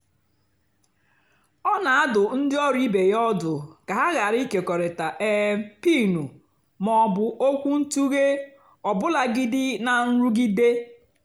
ọ́ nà-àdụ́ ndí ọ́rụ́ ìbé yá ọ́dụ́ kà hà ghàrà ị́kékọ́rịtá um pin mà ọ́ bụ́ ókwúntụ̀ghé ọ́bụ́làgìdí nà nrụ́gídé.